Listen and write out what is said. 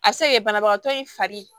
A bɛ se ka kɛ banabagatɔ in fari